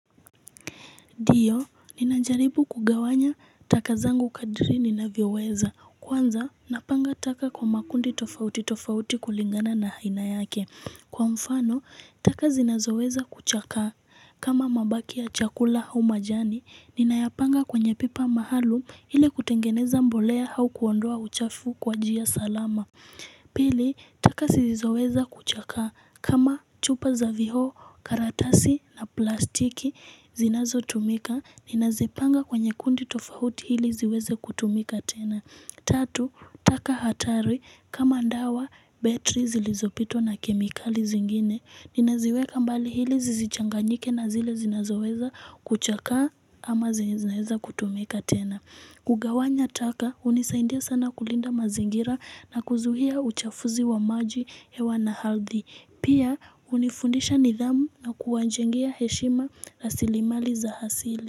Ndiyo, ninajaribu kugawanya taka zangu kadiri ninaviweza. Kwanza, napanga taka kwa makundi tofauti tofauti kulingana na haina yake. Kwa mfano, taka zinazoweza kuchaka kama mabaki ya chakula humajani. Ninayapanga kwenye pipa mahalu ili kutengeneza mbolea hau kuondoa uchafu kwa jia salama. Pili, taka sizizoweza kuchaka kama chupa za viho, karatasi na plastiki. Zinazotumika, ninazipanga kwenye kundi tofahuti hili ziweze kutumika tena Tatu, taka hatari, kama ndawa, betri zilizopito na kemikali zingine Ninaziweka mbali hili zizichanganyike na zile zinazoweza kuchaka ama zineza kutumika tena kugawanya taka, unisaindia sana kulinda mazingira na kuzuhia uchafuzi wa maji hewa na hardhi Pia unifundisha nidhamu na kuwanjengia heshima na silimali za hasili.